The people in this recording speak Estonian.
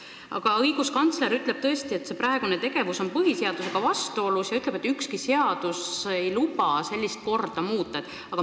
Ent õiguskantsler ütleb tõesti, et kõnealune tegevus on põhiseadusega vastuolus ja et ükski seadus ei luba sellist korda muuta.